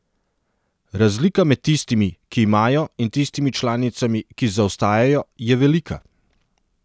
Razlika med tistimi, ki imajo, in tistimi članicami, ki zaostajajo, je velika.